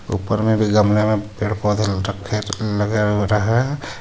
ऊपर में भी गमले में पेड़ पौधे लटक के लगे हुए हैं.